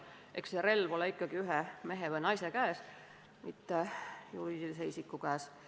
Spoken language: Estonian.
Eks relv ole ikkagi mõne mehe või naise, mitte juriidilise isiku käes.